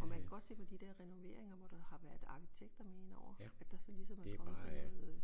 Og man kan godt se på de dér renoveringer hvor der har været arkitekter med ind over at der så ligesom er kommet sådan noget øh